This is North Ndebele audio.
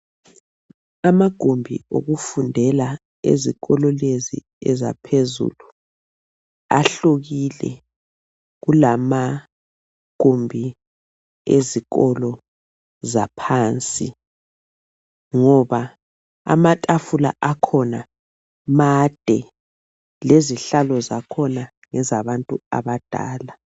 Amagumbi okufundela ezikolo lezi ezaphezulu ahlukile kulamagumbi ezikolo zaphansi ngoba amatafula akhona made lezihlalo zakhona ngezabantu abadala